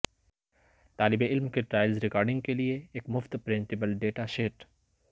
طالب علم کے ٹرائلز ریکارڈنگ کے لئے ایک مفت پرنٹبل ڈیٹا شیٹ